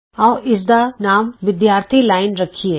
ਆਉ ਇਸ ਦਾ ਨਾਮ ਵਿਦਿਆਰਥੀ ਲਾਈਨ ਸਟੂਡੈਂਟਸ ਲਾਈਨ ਰੱਖੀਏ